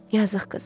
Yazıq qız.